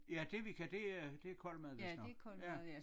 Ja Devika det er det kold mad vist nok ja